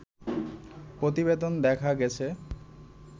প্রতিবেদনে দেখা গেছে